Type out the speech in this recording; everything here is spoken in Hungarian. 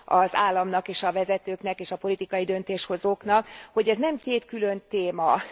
az államnak és a vezetőknek és a politikai döntéshozóknak, hogy ez nem két külön téma.